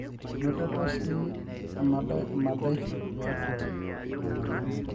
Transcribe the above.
inotoko sii emadaisho tiatua ina moyian